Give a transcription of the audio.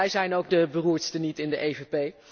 Wij zijn ook de beroerdste niet in de EVP.